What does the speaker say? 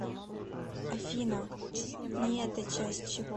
афина ни это часть чего